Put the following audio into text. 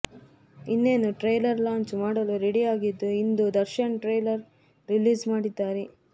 ಇನ್ನೇನು trailer launch ಮಾಡಲು ರೆಡಿಯಾಗಿದ್ದು ಇಂದು ದರ್ಶನ್ ಟ್ರೇಲರ್ ರಿಲೀಸ್ ಮಾಡಿದ್ದಾರೆ